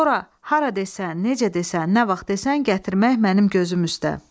Sonra hara desən, necə desən, nə vaxt desən, gətirmək mənim gözüm üstə."